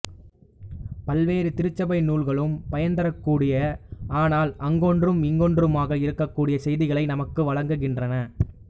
பல்வேறு திருச்சபை நூல்களும் பயன்தரக்கூடிய ஆனால் அங்கொன்றும் இங்கொன்றுமாக இருக்கக்கூடிய செய்திகளை நமக்கு வழங்குகின்றன